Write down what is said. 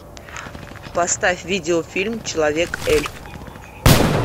поставь видеофильм человек эльф